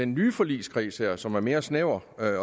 nye forligskreds her som er mere snæver